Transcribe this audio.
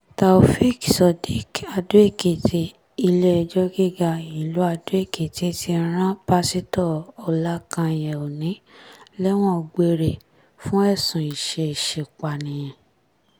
taofeek surdiq adó-ekìtì ilé-ẹjọ́ gíga ìlú adó-ekìtì ti rán pásítọ ọlákányé òní lẹ́wọ̀n gbére fún ẹ̀sùn ìṣeéṣípààyàn